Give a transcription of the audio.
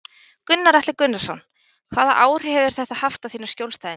Gunnar Atli Gunnarsson: Hvaða áhrif hefur þetta haft á þína skjólstæðinga?